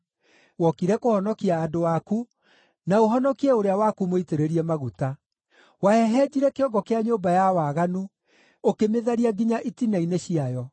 Wokire kũhonokia andũ aku, na ũhonokie ũrĩa waku mũitĩrĩrie maguta. Wahehenjire kĩongo kĩa nyũmba ya waganu, ũkĩmĩtharia nginya itina-inĩ ciayo.